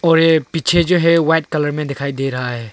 औ ए पीछे जो है वाइट कलर में दिखाई दे रहा है।